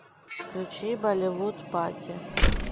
включи болливуд пати